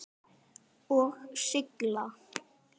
Og sigla?